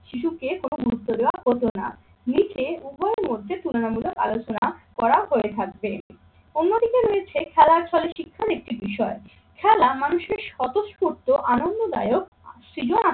শিশুকে কোনো গুরুত্ব দেওয়া হতো না। নিজে উভয়ের মধ্যে তুলনামূলক আলোচনা করা হয়ে থাকবে। অন্যদিকে রয়েছে খেলার ফলে শিক্ষার একটি বিষয়। খেলা মানুষের স্বতঃস্ফূর্ত আনন্দদায়ক ক্রিয়া